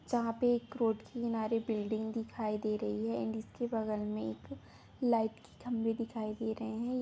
जहां पे एक रोड की किनारे बिल्डिंग दिखाई दे रही है एंड इसके बगल में एक लाइट की खमवे दिखाई दे रहे है।